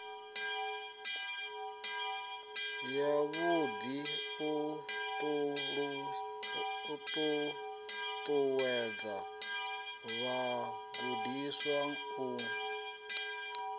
yavhuḓi u ṱuṱuwedza vhagudiswa u